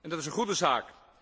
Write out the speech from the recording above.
Dat is een goede zaak.